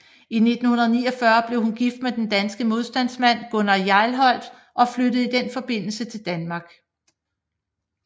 I 1949 blev hun gift med den danske modstandsmand Gunnar Hjelholt og flyttede i den forbindelse til Danmark